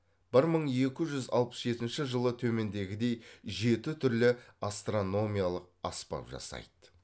бір мың екі жүз алпыс жетінші жылы төмендегідей жеті түрлі астрономиялық аспап жасайды